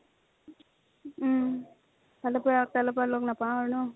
উম। কালিৰ পৰা আকৌ লগ নাপাও আৰু ন।